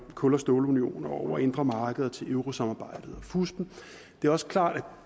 kul og stålunionen over det indre marked til eurosamarbejdet og fuspen det er også klart at når